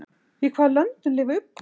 Í hvaða löndum lifa uglur?